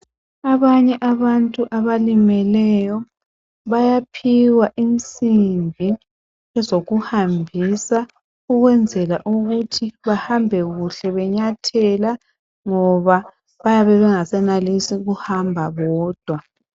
Abanye abantu abalimeleyo bayaphiwa insimbi ezokuhambisa ukwenzela ukuthi bahambe kuhle benyathela ngoba bayabe bengasenenlisi ukuhamba bodwa